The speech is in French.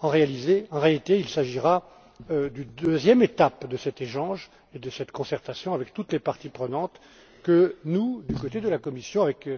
En réalité, il s'agira d'une deuxième étape de cet échange et de cette concertation avec toutes les parties prenantes que, du côté de la Commission, avec